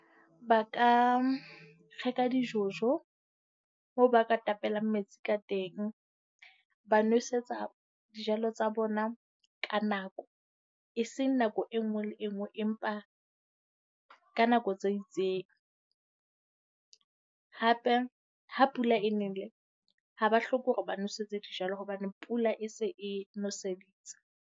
Ba ka reka di-jojo moo ba ka tapelang metsi ka teng. Ba nwesetsa dijalo tsa bona ka nako, e seng nako e nngwe le e nngwe empa ka nako tse itseng. Hape ha pula e nele, ha ba hloke hore ba nwesetse dijalo hobane pula e se e nweseditse.